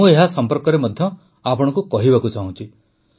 ମୁଁ ଏହା ସମ୍ପର୍କରେ ମଧ୍ୟ ଆପଣଙ୍କୁ କହିବାକୁ ଚାହୁଁଛି